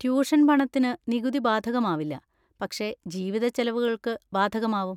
Tuition പണത്തിന് നികുതി ബാധകമാവില്ല, പക്ഷെ ജീവിത ചെലവുകൾക്ക് ബാധകമാവും.